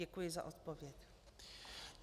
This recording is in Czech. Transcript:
Děkuji za odpověď.